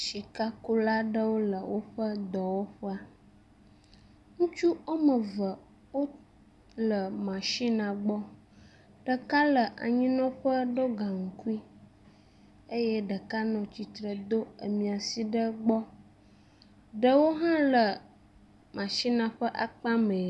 Sikakula aɖewo le woƒe dɔwɔƒe. Ŋutsu wɔme eve wo le nasinia gbɔ. Ɖeka le anyinɔƒe ɖo gaŋkui eye ɖeka nɔ atsitre do amia si ɖe gbɔ. Ɖewo hã le masinia ƒe akpa mɛ.